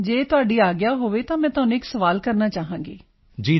ਜੇਕਰ ਤੁਹਾਡੀ ਆਗਿਆ ਹੋਵੇ ਤਾਂ ਮੈਂ ਤੁਹਾਨੂੰ ਇੱਕ ਸਵਾਲ ਕਰਨਾ ਚਾਹਾਂਗੀ ਸਰ